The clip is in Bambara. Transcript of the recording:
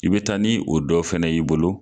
I be taa ni o dɔ fɛnɛ y'i bolo